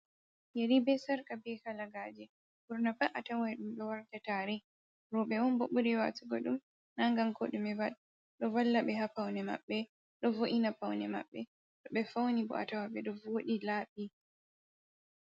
Yeri, be sarka, be kalagaje. Ɓurna pat atawai ɗum ɗo warda tare, roɓe on bo ɓuri waatugo ɗum na ngam ko ɗume ɗo valla ɓe haa paune maɓɓe, ɗo vo’ina paune maɓɓe, to ɓe fauni bo atawa ɓe ɗo voɗi laaɓi.